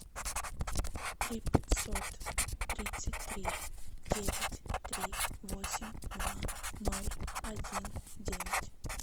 три пятьсот тридцать три девять три восемь два ноль один девять